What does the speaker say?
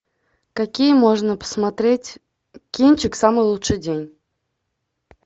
какие можно посмотреть кинчик самый лучший день